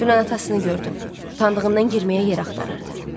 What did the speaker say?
Dünən atasını gördüm, utandığından girməyə yer axtarırdı.